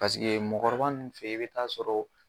Paseke mɔɔkɔrɔba nunnu fe ye i be taa sɔrɔ